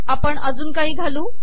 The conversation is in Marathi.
आपण अजून काही घालू